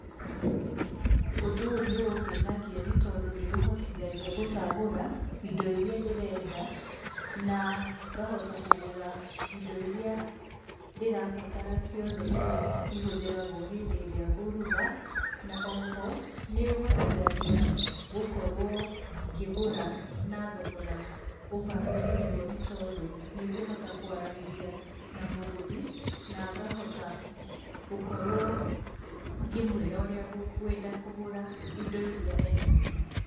Ũndũ ũyũ nĩungenagia nĩ tondũ nĩ ũndeithagia gũchagũra indo iria ndĩrenda na ngahota ngahota gũchagũra indo iria ndĩrabatara ciothe iria ihũthiragwo hĩndĩ ĩrĩa ngũruga, na oho nĩũhotithagia gũkorwo ngĩgura na thogora ubacĩrĩirwo tondũ nĩguhota kwaranĩria na mũguri na ngahota gũkorwo ngĩmwĩra ũrĩa ngwenda kũgũra indo iria ena cio.